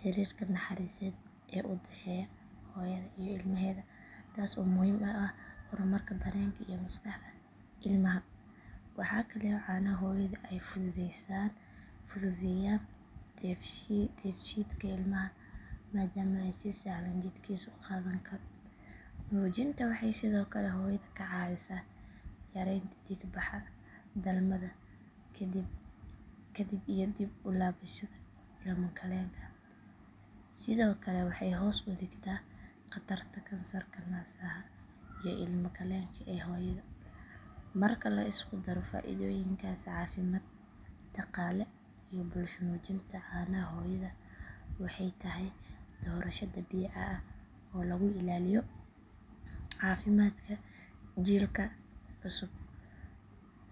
xiriirka naxariiseed ee u dhexeeya hooyada iyo ilmaheeda taas oo muhiim u ah horumarka dareenka iyo maskaxda ilmaha. Waxaa kale oo caanaha hooyadu ay fududeeyaan dheefshiidka ilmaha maadaama ay si sahlan jidhkiisu u qaadan karo. Nuujinta waxay sidoo kale hooyada ka caawisaa yareynta dhiig baxa dhalmada kadib iyo dib u laabashada ilmo galeenka. Sidoo kale waxay hoos u dhigtaa khatarta kansarka naasaha iyo ilmagaleenka ee hooyada. Marka la isku daro faa’iidooyinkaasi caafimaad, dhaqaale iyo bulsho nuujinta caanaha hooyada waxay tahay doorasho dabiici ah oo lagu ilaaliyo caafimaadka jiilka cusub.